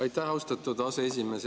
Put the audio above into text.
Aitäh, austatud aseesimees!